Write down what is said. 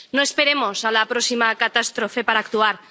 No esperemos a la próxima catástrofe para actuar.